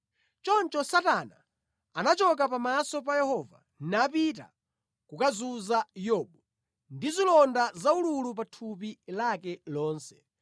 Choncho Satana anachoka pamaso pa Yehova napita kukazunza Yobu ndi zilonda zaululu pa thupi lake lonse.